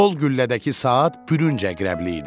Sol güllədəki saat bürünc əqrəbli idi.